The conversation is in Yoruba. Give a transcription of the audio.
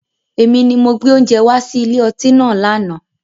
Èmi ni mo gbé oúnjẹ wá sí ilé ọtí náà lànà